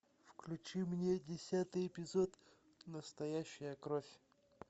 включи мне десятый эпизод настоящая кровь